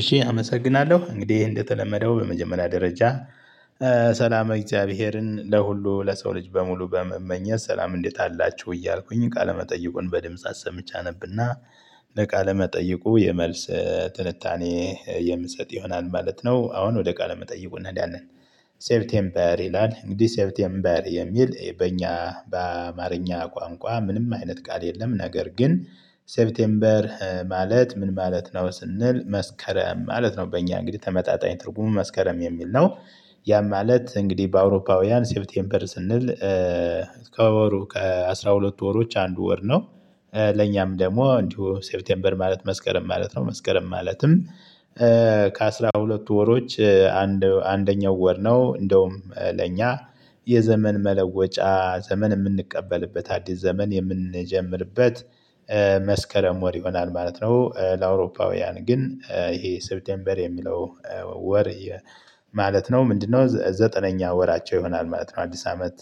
እሺ አመሰግናለሁ እንግዲህ እንደተለመደው በመጀመሪያ ደረጃ ሰላመ እግዚአብሔርን ለሁሉ ለሰው ልጅ በሙሉ በመመኘት ሰላም እንዴት አላችሁ እያልኩኝ ቃለመጠይቁን በድምጽ አሰምቼ አነብና መጠይቁ የመልስ ትንታኔ የምሰጥ ይሆናል ማለት ነው። አሁን ወደ ቃለ መጠይቁ እንሄዳለን። ሴፕቴምበር ይላል እንግዲህ ሴፕቴምበር የሚል በእኛ በአማርኛ ቋንቋ ምንም አይነት ቃል የለም። ነገር ግን ሴፕቴምበር ማለት ምን ማለት ነው? ስንል መስከረም ማለት ነው። በእኛ እንግዲህ ተመጣጣኝ ትርጉሙ መስከረም የሚል ነው። ያ ማለት እንግዲህ በአውሮፓውያን ሴፕቴምበር ስንል ከወሩ ከአሥራ ሁለት ወሮች አንዱ ወር ነው። ለኛም ደግሞ እንዲሁ ሴፕቴምበር መስከረም ማለት ነው። መስከረም ማለትም ከአሥራ ሁለት ወሮች አንድ አንደኛው ወር ነው። እንደውም ለእኛ የዘመን መለወጫ ዘመን እምንቀበልበት አዲስ ዘመን የምንጀምርበት መስከረም ወር ይሆናል ማለት ነው። ለአውሮፓውያን ግን ይሄ ሴብቴምበር የሚለው ወር ማለት ነው ምንድነው? ዘጠነኛ ወራቸው ይሆናል ማለት ነው አዲስ አመት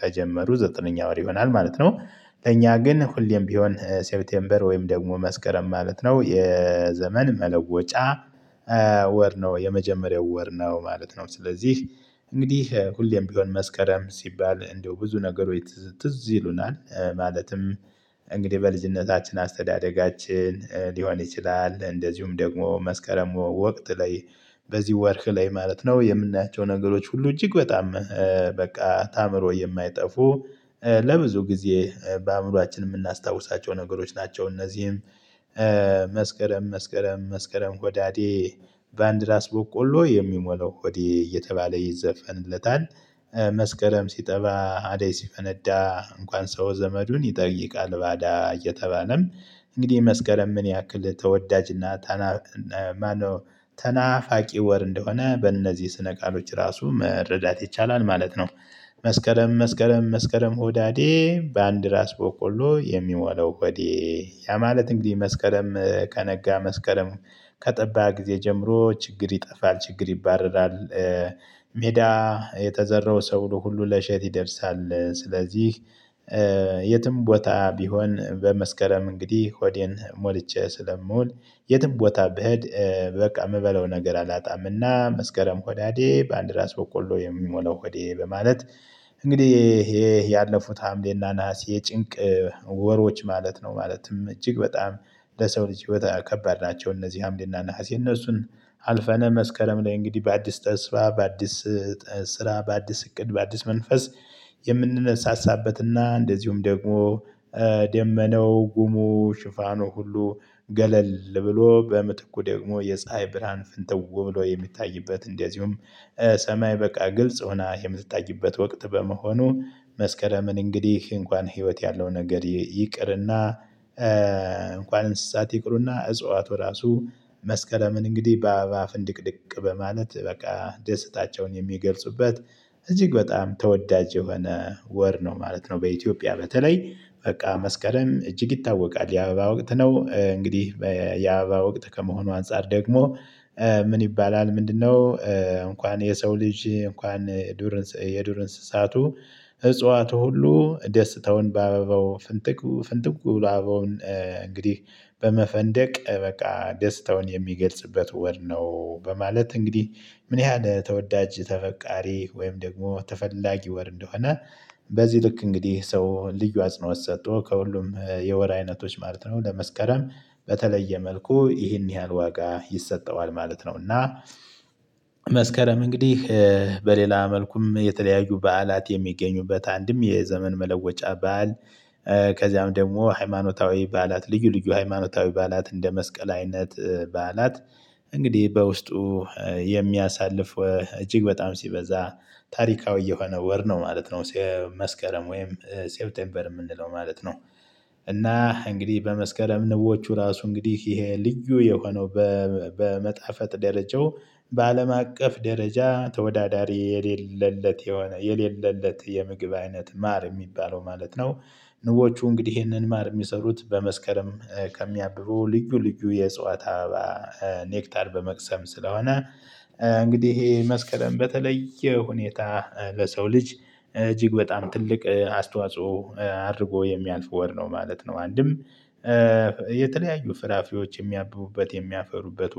ከጀመሩ ዘጠነኛ ወር ይሆናል ማለት ነው። ለእኛ ግን ሁሌም ቢሆን ሴፕቴምበር ወይም ደግሞ መስከረም ማለት ነው የዘመን መለወጫ ወር ነው የመጀመሪያው ወር ነው ማለት ነው። ስለዚህ እንግዲህ ሁሌም ቢሆን መስከረም ሲባል እንደው ብዙ ነገሮች ትዝ ትዝ ይሉናል ማለትም እንግዲህ በልጅነታችን አስተዳደጋችን ሊሆን ይችላል። እንደዚሁም ደግሞ መስከረም ወቅት ላይ በዚህ ወርህ ላይ ማለት ነው የምናያቸው ነገሮች ሁሉ እጅግ በጣም በቃ ታአምሮ የማይጠፉ ለብዙ ጊዜ በአእምሮአችን የምናስታውሳቸው ነገሮች ናቸው። እነዚህም መስከረም መስከረም ሆዳዴ ባንድራስ ቦቆሎ የሚሞላው ሆዴ እየተባለ ይዘፈንለታል። መስከረም ሲጠባ አዳይ ሲፈነዳ እንኳን ሰው ዘመዱን ይጠይቃል። ባዳ እየተባለም እንግዲህ መስከረም ምን ያክል ተወዳጅና ተናፋቂ ወር እንደሆነ በእነዚህ ስነ ቃሎች ራሱ መረዳት ይቻላል ማለት ነው። መስከረም መስከረም መስከረም ሆዳዴ በአንድ ራስ ቦቆሎ የሚሞላው ሆዴ ያ ማለት እንግዲህ መስከረም ከነጋ መስከረም ከጠባ ጊዜ ጀምሮ ችግር ይጠፋል ችግር ይባረራል። ሜዳ የተዘራው ሰብሉ ሁሉ ለእሸት ይደርሳል። ስለዚህ የትም ቦታ ቢሆን በመስከረም እንግዲህ ሆዴን ሞልቼ ስለምዉል የትም ቦታ ብሄድ በቃ የምበለው ነገር አላጣምና መስከረም ሆዳዴ ባአንድ ራስ በቆሎ የሚሞላው ሆዴ በማለት። እንግዲህ ይሄ ያለፉት ሀምሌና ናሀሴ የጭንቅ ወሮች ማለት ነው ማለትም እጅግ በጣም ለሰው ልጅ ህይወት ከባድ ናቸው። እነዚህ ሀምሌና ነሀሴ እነሱን አልፈነ መስከረም ላይ እንግዲህ በአዲስ ተስፋ በአዲስ ስራ በአዲስ እቅድ በአዲስ መንፈስ። የምንነሳሳበትና እንደዚሁም ደግሞ ጉሙ ሽፋኑ ሁሉ ገለል ብሎ በምትኩ ደግሞ የፀሀይ ብርሃን ፍንትው ብሎ የሚታይበት እንደዚሁም ሰማይ በቃ ግልጽ ሆና የምትታይበት ወቅት በመሆኑ መስከረምን እንግዲህ እንኳን ህይወት ያለው ነገር ይቅርና እንኳን እንስሳት ይቅሩና እጽዋቱ ራሱ መስከረምን እንግዲህ በአባባ ፍንድቅድቅ በማለት በቃ ደስታቸውን የሚገልጹበት እጅግ በጣም ተወዳጅ የሆነ ወር ነው ማለት ነው። በኢትዮጵያ በተለይ በቃ መስከረም እጅግ ይታወቃል የአበባ ወቅት ነው። እንግዲህ የአበባ ወቅት ከመሆኑ አንፃር ደግሞ ምን ይባላል ምንድነው? እንኳን የሰው ልጅ እንኳን ዱር አንሰሳ የዱር እንስሳቱ እጽዋቱ ሁሉ ደስተውን ባበባው ፍንጥቁ ፍንጥቁ በሎ አበባውን እንግዲህ በመፈንደቅ በቃ ደስታውን የሚገልጽበት ወር ነው። በማለት እንግዲህ ምን ያህል ተወዳጅ ተፈቃሪ ወይም ደግሞ ተፈላጊ ወር እንደሆነ። በዚህ ልክ እንግዲህ ሰው ልዩ አጽኖት ሰቶ ከሁሉም የወር አይነቶች ማለት ነው ለመስከረም በተለየ መልኩ ይህን ያህል ዋጋ ይሰጠዋል ማለት ነው። እና መስከረም እንግዲህ በሌላ መልኩም የተለያዩ በዓላት የሚገኙበት አንድም የዘመን መለወጫ ባዓል ከዚያም ደግሞ ሃይማኖታዊ ባዓላት ልዩ ልዩ ሃይማኖታዊ ባዓላት እንደ መስቀል አይነት በዓላት እንግዲህ በውስጡ የሚያሳልፍ እጅግ በጣም ሲበዛ ታሪካዊ የሆነ ወር ነው ማለት ነው። መስከረም ወይም ሴብቴምበር የምንለው ማለት ነው። እና እንግዲህ በመስከረም ንቦቹ ራሱ እንግዲህ ይሄ ልዩ የሆነው በመጣፈጥ ደረጃው በአለም አቀፍ ደረጃ ተወዳዳሪ የሌለለት የሆነ የሌለለት የምግብ አይነት ማር እሚባለው ማለት ነው። ንቦቹ እንግዲህ ይህንን ማር እሚሰሩት በመስከረም ከሚያብቡ ልዩ ልዩ የእጽዋት አበባ ኔክታል በመቅሰም ስለሆነ እንግዲህ ይሄ መስከረም በተለየ ሁኔታ ለሰው ልጅ እጅግ በጣም ትልቅ አስተዋጽኦ አድርጎ የሚያልፍ ወር ነው ማለት ነው። አንድም የተለያዩ ፍራፍሬዎች የሚያብቡበት የሚያፈሩበት